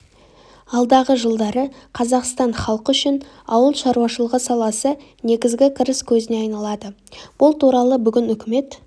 алдағы жылдары қазақстан халқы үшін ауыл шаруашылығы саласы негізгі кіріс көзіне айналады бұл туралы бүгін үкімет